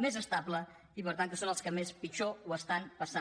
més estable i per tant que són els que pitjor ho estan passant